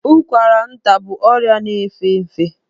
Ụkwara nta bụ ọrịa na-efe efe.